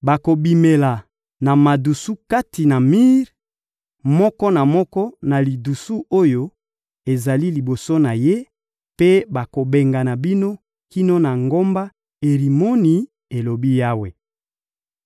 bokobimela na madusu kati na mir, moko na moko na lidusu oyo ezali liboso na ye, mpe bakobengana bino kino na ngomba Erimoni,» elobi Yawe.